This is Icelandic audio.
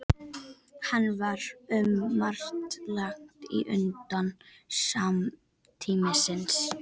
Hann var um margt langt á undan samtíð sinni.